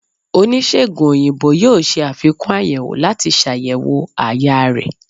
onisegùn oyinbo yóò ṣe afikún ayèwó lati ṣayẹwo àyà rẹ